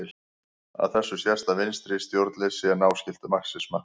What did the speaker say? Af þessu sést að vinstra stjórnleysi er náskylt marxisma.